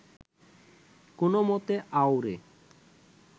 কোনওমতে আউড়ে